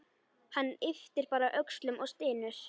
Hann ypptir öxlum og stynur.